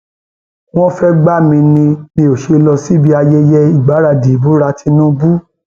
wọn fẹẹ gbà mí ni mi ò ṣe lọ síbi ayẹyẹ ìgbaradì ìbúra tinubu